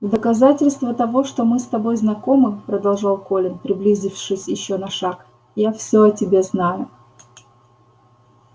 в доказательство того что мы с тобой знакомы продолжал колин приблизившись ещё на шаг я всё о тебе знаю